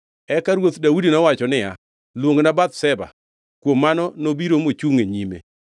Eka Ruoth Daudi nowacho niya, “Luongna Bathsheba.” Kuom mano nobiro mochungʼ e nyime.